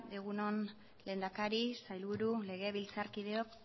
egun on lehendakari sailburu legebiltzarkideok